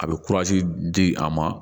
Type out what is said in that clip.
A bɛ di a ma